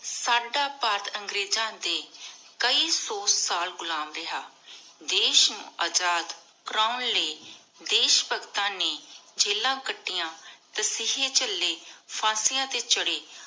ਸਾਡਾ ਭਾਰਤ ਅੰਗ੍ਰੇਜ਼ਾਂ ਦੇ ਕਈ ਸੋ ਸਾਲ ਗੁਲਾਮ ਰਿਹਾ ਦੇਸ਼ ਨੂੰ ਅਜਾਦ ਕਰਾਉਨ ਲਏ ਦੇਸ਼ ਭਗਤਾਂ ਨੀ ਜੇਲਾਂ ਕਟਿਆਂ ਤਸੀਹੇ ਝਲੀ ਫਾਂਸਿਯਾਂ ਤੇ ਚੜੇ